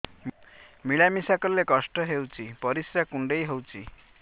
ମିଳା ମିଶା କଲେ କଷ୍ଟ ହେଉଚି ପରିସ୍ରା କୁଣ୍ଡେଇ ହଉଚି